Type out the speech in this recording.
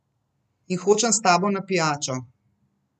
In hočem s tabo na pijačo.